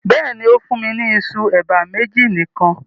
Bẹ́ẹ̀ni, o fùn mi ni ìṣu eba meji nikan